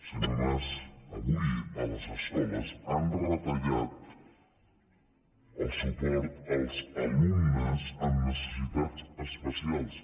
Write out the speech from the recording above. senyor mas avui a les escoles han retallat el suport als alumnes amb necessitats especials